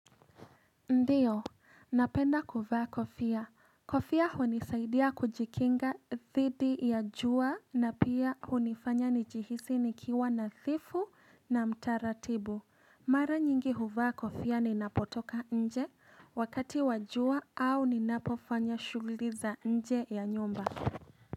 Ndiyo, napenda kuvaa kofia. Kofia hunisaidia kujikinga dhidi ya jua na pia hunifanya nijihisi nikiwa nadhifu na mtaratibu. Mara nyingi huvaa kofia ninapotoka nje wakati wa jua au ninapofanya shughuli za nje na ya nyumba.